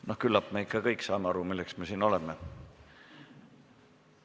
No küllap me ikka kõik saame aru, milleks me siin oleme.